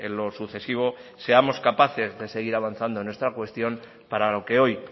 lo sucesivo seamos capaces de seguir avanzando en esta cuestión para lo que hoy